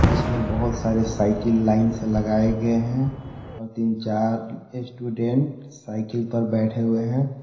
इसमें बहुत सारे साइकिल लाइन से लगाए गए हैं और तीन चार स्टूडेंट साइकिल पर बैठे हुए हैं।